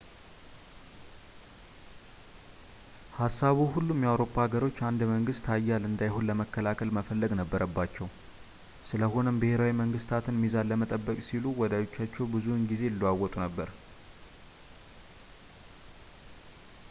ሀሳቡ ሁሉም የአውሮፓ ሀገሮች አንድ መንግስት ኃያል እንዳይሆን ለመከላከል መፈለግ ነበረባቸው ስለሆነም ብሄራዊ መንግስታት ሚዛን ለመጠበቅ ሲሉ ወዳጆቻቸውን ብዙውን ጊዜ ይለዋውጡ ነበር